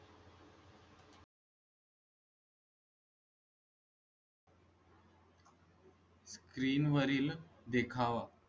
Screen वरील देखावा.